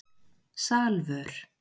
Salvör